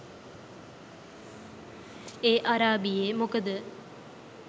ඒ අරාබියෙ මොකද